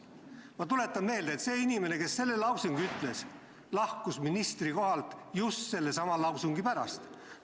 Ma tuletan meelde, et see inimene, kes seda ütles, lahkus ministrikohalt just sellesama lause pärast.